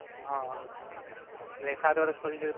હાં, એટલે એ સાત વર્ષ પતિ જાય પછી?